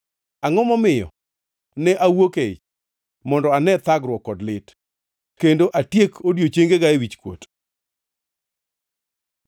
Angʼo momiyo ne awuok e ich mondo ane thagruok kod lit, kendo atiek odiechiengega e wichkuot?